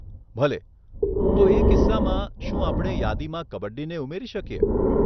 ભલે, તો એ કિસ્સામાં, શું આપણે યાદીમાં કબડ્ડીને ઉમેરી શકીએ